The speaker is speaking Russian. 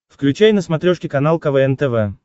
включай на смотрешке канал квн тв